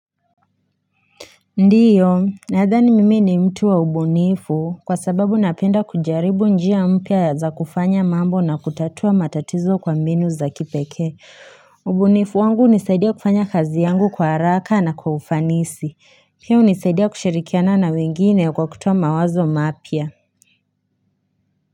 Ndiyo na adhani mimi ni mtu wa ubunifu kwa sababu napenda kujaribu njia mpya za kufanya mambo na kutatua matatizo kwa mbinu za kipekee ubunifu wangu hunisaidia kufanya kazi yangu kwa haraka na kwa ufanisi pia hunisaidia kushirikiana na wengine kwa kutoa mawazo mapya.